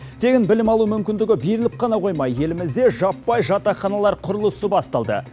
тегін білім алу мүмкіндігі беріліп қана қоймай елімізде жаппай жатақханалар құрылысы басталды